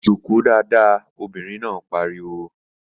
Jòkó dáadáa! Obìnrin náà pariwo